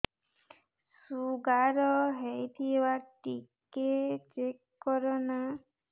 sugar ହେଇଥିବ ଟିକେ check କର ନା